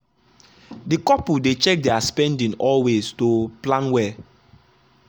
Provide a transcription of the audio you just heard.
the couple dey check their spending always to plan well.